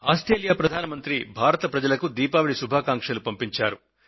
Australia ప్రధాని భారత ప్రజలకు దీపావళి శుభాకాంక్షలు పంపించారు